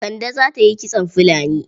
Kande za ta yi kitson filani.